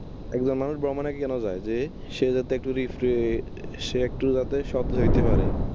একজন মানুষ ভ্রমনে কেন যায়? সে যাতে একটু refresh সে একটু যাতে সতেজ হইতে পারে।